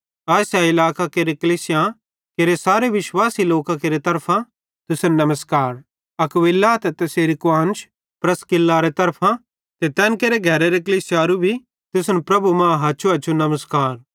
आसिया इलाकेरे कलीसियां केरे सारे विश्वासी लोकां केरे तरफां तुसन नमस्कार अक्विला ते तैसेरी कुआन्श प्रिस्कारे तरफां ते तैन केरे घरे कलीसियाई भी तुसन प्रभु मां हछुहछु नमस्कार